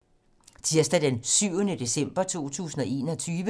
Tirsdag d. 7. december 2021